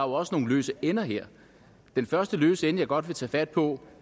også nogle løse ender her den første løse ende jeg godt vil tage fat på